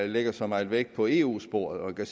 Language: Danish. lægger så meget vægt på eu sporet og jeg